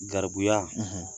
Garibuya